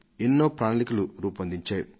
ఎన్నో ప్రణాళికలు రూపొందించారు